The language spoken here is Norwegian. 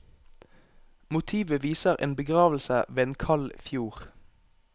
Motivet viser en begravelse ved en kald fjord.